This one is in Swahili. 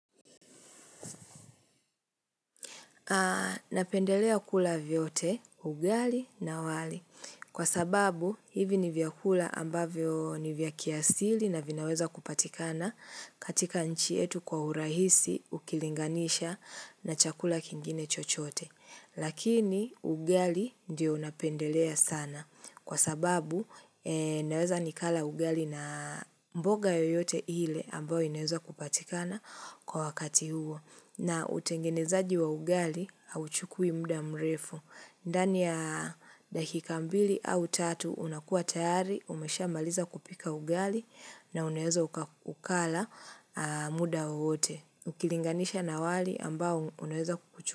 Napendelea kula vyote, ugali na wali. Kwa sababu, hivi ni vyakula ambavyo ni vyakiasili na vinaweza kupatikana katika nchi yetu kwa urahisi ukilinganisha na chakula kingine chochote. Lakini, ugali ndio napendelea sana. Kwa sababu, naweza nikala ugali na mboga yoyote ile ambayo inaweza kupatikana kwa wakati huo. Na utengenezaji wa ugali hauchukui muda mrefu. Ndani ya dakika mbili au tatu unakua tayari, umeshamaliza kupika ugali na unaweza ukala muda wowote. Ukilinganisha na wali ambao unaweza kuchukua.